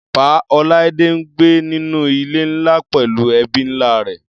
Pa. Olaide ń gbé nínú ilé ńlá pẹllú ẹbí ńlá rẹ̀.